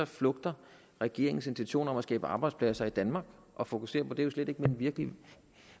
flugter regeringens intentioner om at skabe arbejdspladser i danmark og fokusere på det slet ikke den virkelige